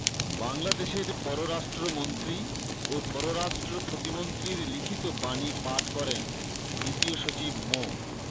বাংলাদেশের পররাষ্ট্রমন্ত্রী ও পররাষ্ট্রপ্রতিমন্ত্রীর লিখিত বাণী পাঠ করেন দ্বিতীয় সচিব মো